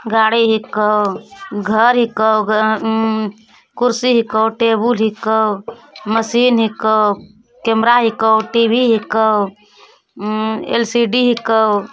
गाड़ी हिको | घर हीको। | कुर्सी हीको |टेबुल हीको मशीन हीको| कैमरा हीको || टी_वी हीको | एल_सी_डी हीको।